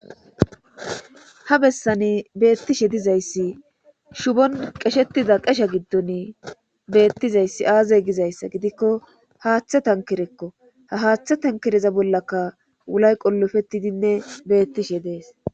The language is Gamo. Ha bessani beetizaysi shuuffon qashetida qashezi aaze gizayssa gidikko haaththa tankerekko. ha haaththa tankereza bollakka wulay qolopetidinne beetishe de'ees.